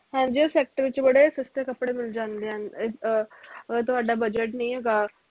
ਹਾਂਜੀ ਉਹ sector ਚ ਬੜੇ ਸਸਤੇ ਕੱਪੜੇ ਮਿਲ ਜਾਂਦੇ ਹਨ ਅਹ ਤੁਹਾਡਾ budget ਨੀ ਹੈਗਾ